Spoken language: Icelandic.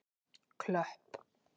Klöpp